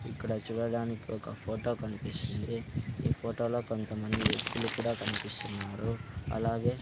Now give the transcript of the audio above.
ఇక్కడ చూడడానికి ఒక ఫోటో కన్పిస్తుంది ఈ ఫోటోలో కొంతమంది వ్యక్తులు కూడా కన్పిస్సున్నారు అలాగే --